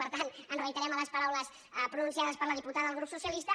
per tant ens reiterem en les paraules pronunciades per la diputada del grup socialista